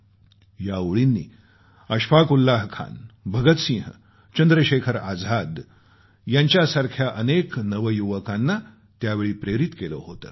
या ओळींनी अशफाक़ उल्लाह खान भगत सिंह चंद्रशेखर आझाद यांच्यासारख्या अनेक नवयुवकांना त्यावेळी प्रेरित केलं होतं